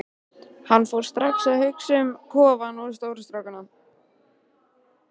Hann fór strax að hugsa um kofann og stóru strákana.